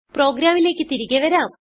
പ്രോഗ്രാമിലേക്ക് തിരികെ വരാം